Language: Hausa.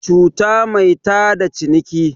cuta mai tada ciniki